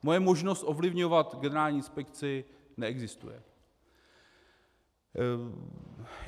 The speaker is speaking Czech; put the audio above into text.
Moje možnost ovlivňovat Generální inspekci neexistuje.